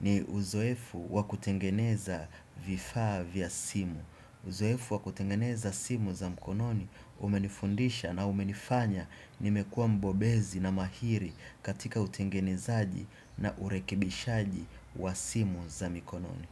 ni uzoefu wa kutengeneza vifaa vya simu. Uzoefu wa kutengeneza simu za mkononi umenifundisha na umenifanya nimekua mbobezi na mahiri katika utengenezaji na urekibishaji wa simu za mkononi.